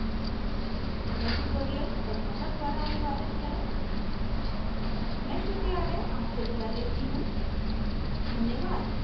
यह tutorial प्रभाकर द्वारा अनुवादित है मैं श्रुति आर्य आपसे विदा लेती हूँ